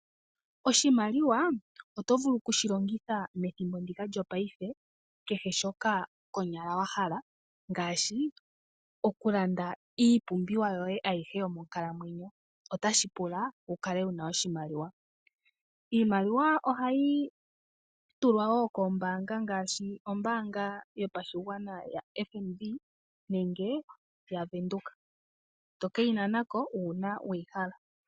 Oshimaliwa oto vulu okushilongitha methimbo ndika lyopaife kehe shoka konyala wahala, ngaashi okulanda iipumbiwa yoye ayihe yomonkalamwenyo otashi kupula wukale wuna oshimaliwa. Iimaliwa ohayi tulwa wo koombaanga ngaashi ombaanga yotango yopashigwana nenge yaWindhoek toke yi nanako uuna weyihala.